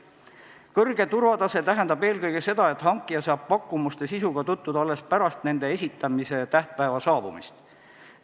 Kõrge turvatase tähendab eelkõige seda, et hankija saab pakkumuste sisuga tutvuda alles pärast nende esitamise tähtpäeva saabumist.